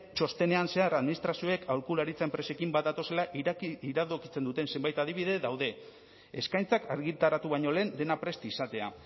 txostenean zehar administrazioek aholkularitza enpresekin bat datozela iradokitzen duten zenbait adibide daude eskaintzak argitaratu baino lehen dena prest izatea